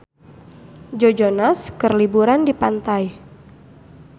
Joe Jonas keur liburan di pantai